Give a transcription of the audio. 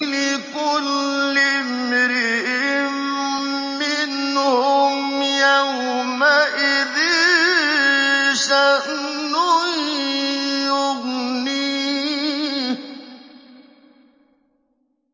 لِكُلِّ امْرِئٍ مِّنْهُمْ يَوْمَئِذٍ شَأْنٌ يُغْنِيهِ